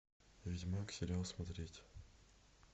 ведьмак сериал смотреть